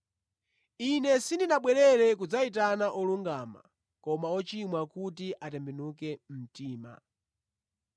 Ine sindinabwere kudzayitana olungama, koma ochimwa kuti atembenuke mtima.”